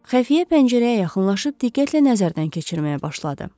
Xəfiyyə pəncərəyə yaxınlaşıb diqqətlə nəzərdən keçirməyə başladı.